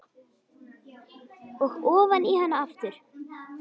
Og ofan í hana aftur.